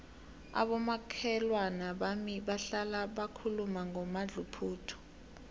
abomakhelwana bami bahlala bakhuluma ngomadluphuthu